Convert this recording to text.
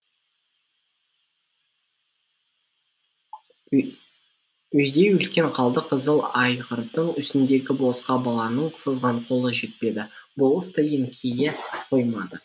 үйдей үлкен қалды қызыл айғырдың үстіндегі болысқа баланың созған қолы жетпеді болыс та еңкейе қоймады